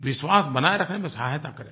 विश्वास बनाये रखने में सहायता करें